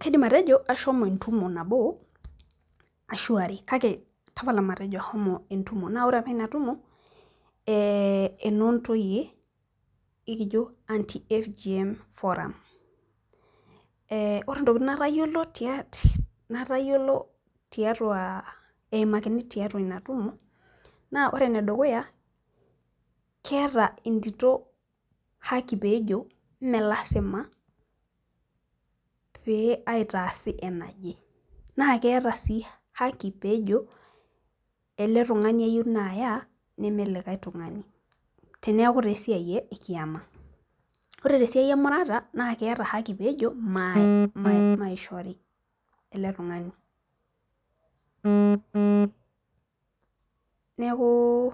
kaidim atejo ashomo entumo nabo kake ore apa inatumo naa enoo intoyie naa keji anti-FGM ore intokitin natayiolo emakini tiatua ina tumo, ore ene dukuya keeta entito esipata najorie imelasima pee aitaasi enaje, naa keeta sii haki najo ele tungani ayieu naya ime likae tungani teneeku taa esiai ekiyama, ore tesiai emurata keeta haki pee ejo maishori, ele tungani neeku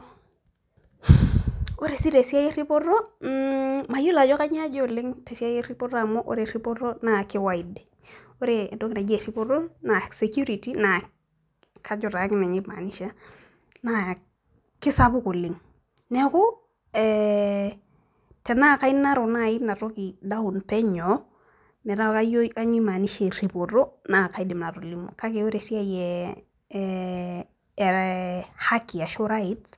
ore sii tesiai eripoto naa kisapuk oleng tenaa kake ore esiai ee ehaki ashu right.